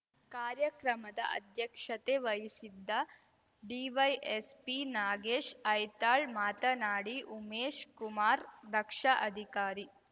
ಕಾರ್ಯಕ್ರಮದ ಅಧ್ಯಕ್ಷತೆ ವಹಿಸಿದ್ದ ಡಿವೈಎಸ್ಪಿ ನಾಗೇಶ್ ಐತಾಳ್‌ ಮಾತನಾಡಿ ಉಮೇಶಕುಮಾರ್‌ ದಕ್ಷ ಅಧಿಕಾರಿ